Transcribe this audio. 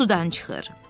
Sudan çıxır.